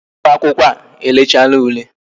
Ụmụ akwụkwọ e lechana ule